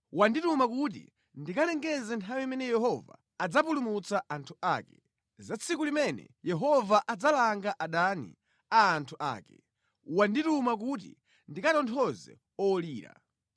Wandituma kuti ndikalengeze nthawi imene Yehova adzapulumutsa anthu ake; za tsiku limene Yehova adzalanga adani a anthu ake. Wandituma kuti ndikatonthoze olira.